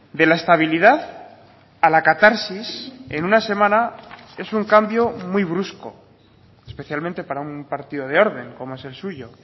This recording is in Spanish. de la estabilidad a la catarsis en una semana es un cambio muy brusco especialmente para un partido de orden como es el suyo